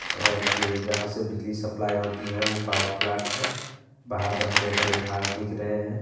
और ये जहाँ से बिजली सप्लाई होती है वो पावर प्लांट है बाहर में हरे-भरे घास दिख रहे हैं।